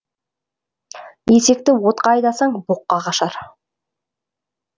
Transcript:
есекті отқа айдасаң боққа қашар